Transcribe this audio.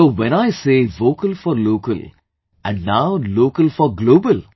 so, when I say Vocal for Local and now Local for Global